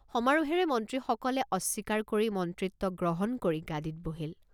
সমাৰোহেৰে মন্ত্ৰীসকলে অস্বীকাৰ কৰি মন্ত্ৰিত্ব গ্ৰহণ কৰি গাদীত বহিল।